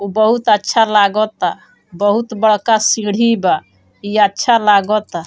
उ बहुत अच्छा लागोता बहुत बड़का सीढ़ी बा ई अच्छा लागोता।